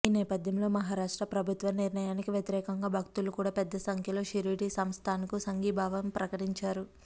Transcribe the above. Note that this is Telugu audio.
ఈ నేపథ్యంలో మహారాష్ట్ర ప్రభుత్వ నిర్ణయానికి వ్యతిరేకంగా భక్తులు కూడా పెద్ద సంఖ్యలో షిరిడీ సంస్థాన్కు సంఘీభావం ప్రకటించారు